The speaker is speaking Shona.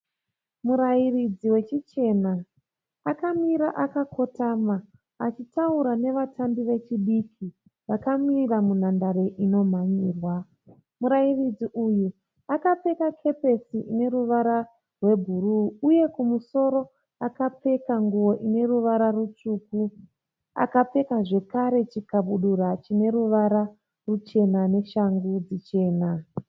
Murairidzi wechichena akamira akakotama achitaura nevatambi vechidiki vakamira munhandare inomhanyirwa. Murairidzi uyu akapfeka kepesi ine ruvara rwebhuruu uye kumusoro akapfeka nguo ine ruvara rutsvuku. Akapfeka zvakare chikadabura chine ruvara ruchena neshangu chena.